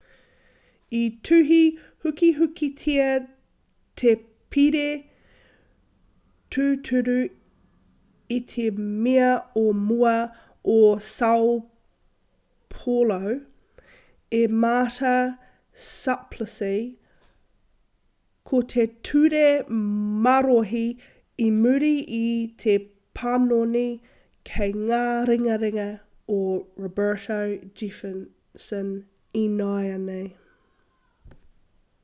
i tuhi hukihukitia te pire tūturu e te mea o mua o sao paulo e marta suplicy ko te ture marohi i muri i te panoni kei ngā ringaringa o roberto jefferson ināianei